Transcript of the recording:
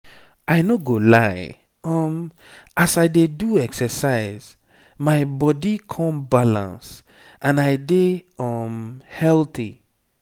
i no go lie um as i dey do exercise my body come balance and i dey um healthy.